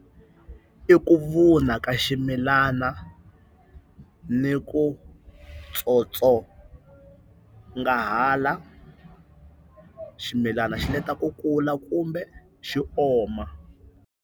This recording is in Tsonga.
I ku vuna ka ximilana ni ku tsotsongahala, ximilana xi leta ku kula kumbe xi oma.